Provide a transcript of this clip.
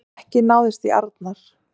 Ekki náðist í Arnar